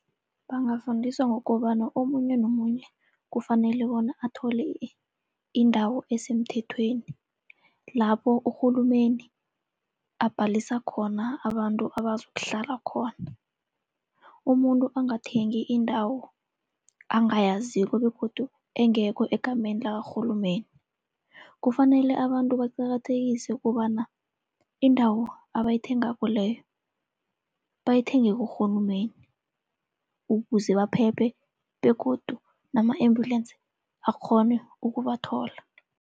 Bangafundiswa ngokobana omunye nomunye kufanele bona athole indawo esemthethweni, lapho urhulumeni abhalisa khona abantu abazokuhlala khona. Umuntu angathengi indawo angayaziko begodu engekho egameni lakarhulumeni. Kufanele abantu baqakathekise kobana indawo abayithengako leyo bayithenge kurhulumeni, ukuze baphephe begodu nama-ambulance akghone ukubathola.